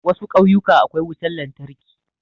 Wasu kauyuka akwai wutan lantarki